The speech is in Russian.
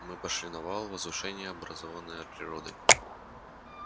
мы пошли на вал возвышение образованное природой